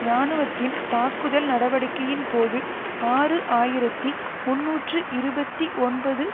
இராணுவத்தின் தாக்குதல் நடவடிக்கையின் போது ஆறு ஆயிரத்தி முன்னூற்று இருபத்தி ஒன்பது